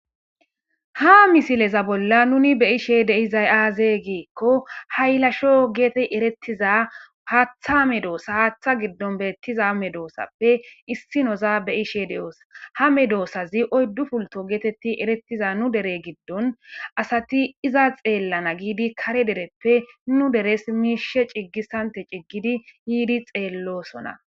ha misileza bolla nuni beishe deizay aaze giikko haylasho geete erettiza haatha amedoosa haaththa giddon beettiza amedoossappe issi noza beyishe de7oosa ha medoossazi oyddu pulto geetetti erettiza nu dere giddon asati iza xeellana giidi kare dereppe nu deres miishe ciggissante ciggidi yiidi xeellosona